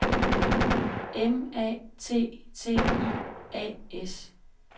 M A T T I A S